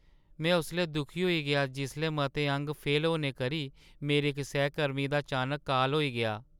में उसलै दुखी होई गेआ जिसलै मते अंग फेल होने करी मेरे इक सैह्‌कर्मी दा अचानक काल होई गेआ।